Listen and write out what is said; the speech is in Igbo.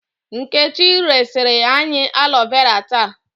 Nkechi resiri anyị alo vera taa.